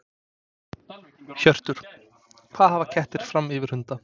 Hjörtur: Hvað hafa kettir fram yfir hunda?